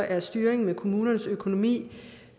at styringen med kommunernes økonomi